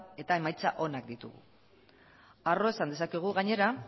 eta emaitza onak ditu harro esan dezakegu gainera